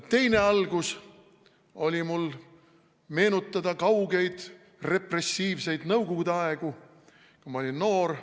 Teine algus oli mul meenutada kaugeid repressiivseid nõukogude aegu, kui ma olin noor.